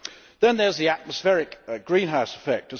Then there is the atmospheric greenhouse effect.